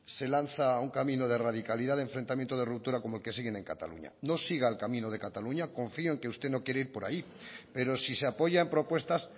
se lanza a un camino de radicalidad de enfrentamiento de ruptura como el que siguen en cataluña no siga el camino de cataluña confío en que usted no quiere ir por ahí pero si se apoyan propuestas